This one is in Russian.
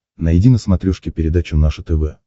найди на смотрешке передачу наше тв